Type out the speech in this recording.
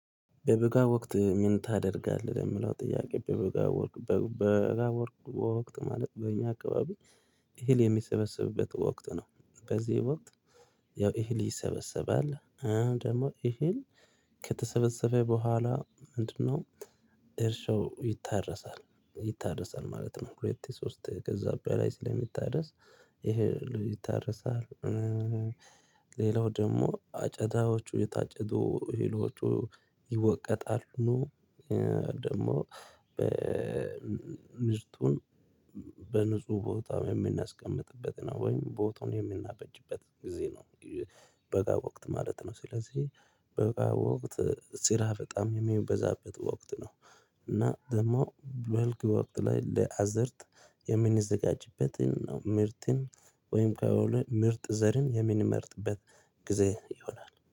በበጋ ወቅት ምን ታደርጋለህ ለሚለው ጥያቄ በበጋ ወቅት በበጋ ወቅት በበጋ ወቅት ማለት በእኛ አካባቢ እህል የሚሰበሰብበት ወቅት ነው በዚህ ወቅት ያው እህል ይሰበሰባል ደግሞ ይሄን ከተሰበሰበ በኋላ ምንድነው እርሻው ይታረሳል። ይታረሳል ማለት ነው ሁለቴ ሶስቴ ከዛ በላይ ስለሚታረስ ይሄ ይታረሳል ሌላው ደግሞ አጨዳዎቹ የታጨዱ እህሎቹ ይወቀጣሉ ደግሞ ምርቱን በንጹህ ቦታ በምናስቀምጥበት ነው ወይም ቦታውን የምናበጅበት ጊዜ ነው በጋ ወቅት ማለት ነው ስለዚህ በጋ ወቅት ስራ በጣም ሚበዛበት ወቅት ነው እና ደግሞ በልግ ወቅት ላይ ለአዘርት የምንዘጋጅበትን ምርትን ወይም ከወሎ ምርጥ ዘርን የምንመርጥበት ጊዜ ይሆናል